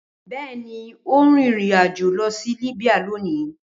Bẹẹni o n rin irin ajo lọ si Libya loni.